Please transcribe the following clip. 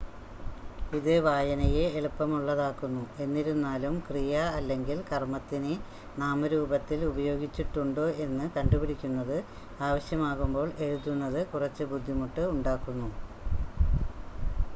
ഇത് വായനയെ എളുപ്പമുള്ളതാക്കുന്നു എന്നിരുന്നാലും ക്രിയ അല്ലെങ്കിൽ കർമ്മത്തിനെ നാമരൂപത്തിൽ ഉപയോഗിച്ചിട്ടുണ്ടോ എന്ന് കണ്ടുപിടിക്കുന്നത് ആവശ്യമാകുമ്പോൾ എഴുതുന്നത് കുറച്ച് ബുദ്ധിമുട്ട് ഉണ്ടാക്കുന്നു